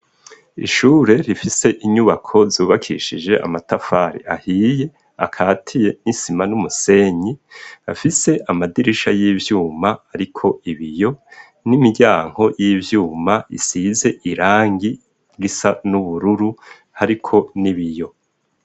Ishure rifise inyubako zubakishije amatafari ahiye akatiye n'isima n'umusenyi, afise amadirisha y'ivyuma ariko ibiyo n'imiryango y'ivyuma isize irangi risa n'ubururu hariko n'ibiyo.